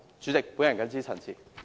主席，我謹此陳辭。